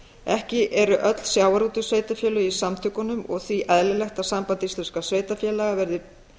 ekki eru öll sjávarútvegssveitarfélög í samtökunum og því eðlilegt að samband íslenskra sveitarfélaga verði